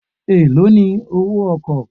Èló ni owó ọkọ̀?